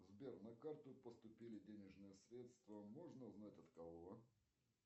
сбер на карту поступили денежные средства можно узнать от кого